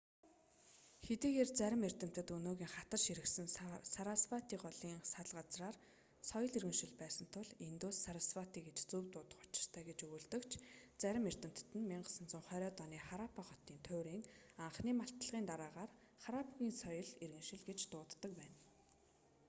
хэдийгээр замрим эрдэмтэд өнгөөгийн хатаж ширгэсэн сарасвати голийн сал газраар соёл иргэншил байсан тул индус сарасвати гэж зөв дуудах учиртай гэж өгүүлдэг ч зарим эрдэмтэд нь 1920-д оны хараппа хотын туйрын анхны малтлагын дараагаар харрапгын ссоёл иргэншил гэж дууддаг байна